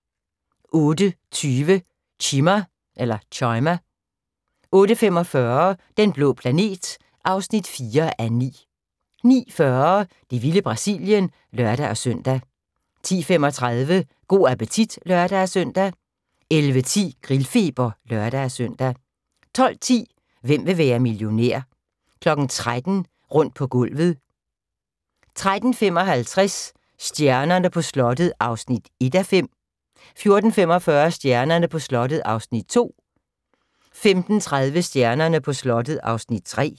08:20: Chima 08:45: Den blå planet (4:9) 09:40: Det vilde Brasilien (lør-søn) 10:35: Go' appetit (lør-søn) 11:10: Grillfeber (lør-søn) 12:10: Hvem vil være millionær? 13:00: Rundt på gulvet 13:55: Stjernerne på slottet (1:5) 14:45: Stjernerne på slottet (2:5) 15:30: Stjernerne på slottet (3:5)